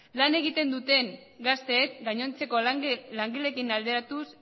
lan egiten duten gazteek gainontzeko langileekin alderatuz